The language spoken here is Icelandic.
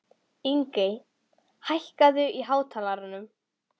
Ingey, hækkaðu í hátalaranum.